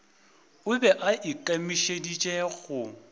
o be a ikemišeditše go